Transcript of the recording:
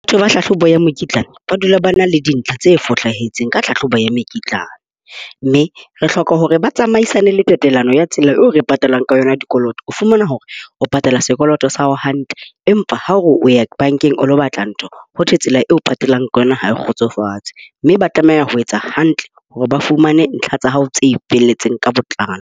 Batho ba tlhahlobo ya mokitlane ba dula ba na le dintlha tse fosahetseng ka tlhahlobo ya mekitlane. Mme re hloka hore ba tsamaisane le tatelano ya tsela eo re patalang ka yona dikoloto. O fumana hore o patala sekoloto sa hao hantle, empa ha o re o ya bankeng o ilo batla ntho ho thwe tsela eo o patalang ka yona ha e kgotsofatse. Mme ba tlameha ho etsa hantle hore ba fumane ntlha tsa hao tse felletseng ka botlalo.